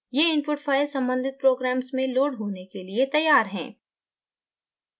ये input files सम्बंधित programmes में लोड होने के लिए तैयार हैं